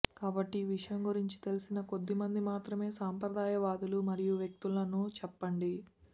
కాబట్టి ఈ విషయం గురించి తెలిసిన కొద్దిమంది మాత్రమే సంప్రదాయవాదులు మరియు వ్యక్తులను చెప్పండి